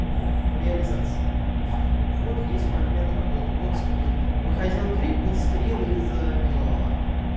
в реализации то есть вот есть фрагмент работы вот скрин выходил крик был скрин из-за визуала